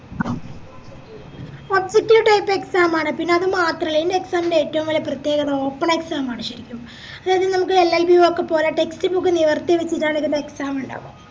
objective type exam ആണ് പിന്നത് മാത്രല്ല ഈൻറ exam ൻറെ ഏറ്റോം വെല്യ പ്രേത്യേകത open exam ആണ് ശെരിക്കും അതായ നമുക്ക് LLB ഒക്കെ പോലെ text book നിവർത്തിവെച്ചിട്ടാണ് ഇതിൻറെ exam ഇണ്ടാവാ